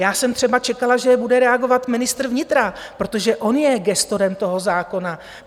Já jsem třeba čekala, že bude reagovat ministr vnitra, protože on je gestorem toho zákona.